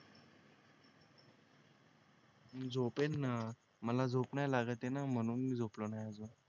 झोपेन ना मला झोप नाही लागत ये ना म्हणून मी झोपलो नाही अजून